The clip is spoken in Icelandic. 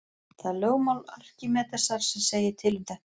Það er lögmál Arkímedesar sem segir til um þetta.